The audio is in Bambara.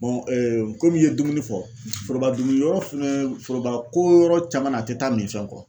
komi i ye dumuni fɔ, foroba dumuni yɔrɔ fɛnɛ foroba ko yɔrɔ caman na a te taa min fɛn kɔ.